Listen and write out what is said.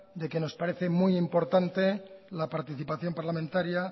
de que nos parece muy importante la participación parlamentaria